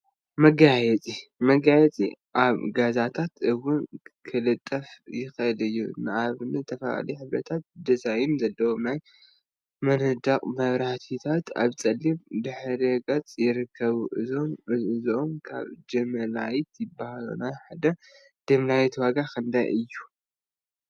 መጋየፂ መጋየፂ አብ ገዛታት እውን ክልጠፍ ይክእል እዩ፡፡ ንአብነት ዝተፈላለዩ ሕብሪታትን ድዛይን ዘለዎም ናይ መንደቅ መብራህቲታት አብ ፀሊም ድሕረ ገፅ ይርከቡ፡፡ እዚኦም ከዓ ጅምላይት ይበሃሉ፡፡ ናይ ሓደ ጅምላይት ዋጋ ክንደይ እዩ?